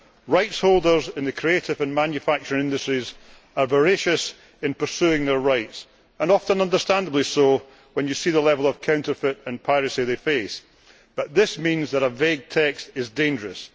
Rights holders in the creative and manufacturing industries are voracious in pursuing their rights. Often understandably so when you see the level of counterfeit and piracy they face. But this means that a vague text is dangerous.